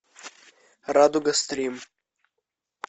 радуга стрим